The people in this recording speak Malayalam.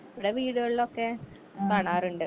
ഇവിടെ വീട്കാളിലൊക്കെ കാണാറിണ്ട്.